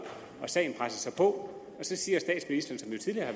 og sagen presser på og så siger statsministeren som jo tidligere